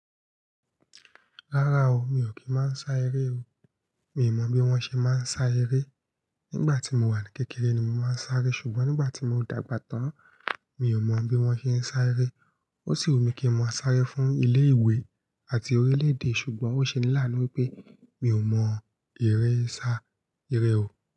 Rárá o, mi ò kí máa ń sa eré o. Mi ò mọ̀ bí wọ́n ṣe máa ń sa eré. Nígbà tí mo wà ní kékeré ni mo máa ń sáré, ṣùgbọ́n nígbà tí mo dàgbà tán, mi ò mọ̀ bí wọ́n ṣe ń sá eré. Ó ṣì wùmí kí n mọ̀ sáré fún ilé ìwé àti orílẹ̀ èdè. Ṣùgbọ́n ó ṣe ní lánu wípé mi ò mọ ìré sá, iré o.